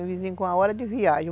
O vizinho com a hora de viagem.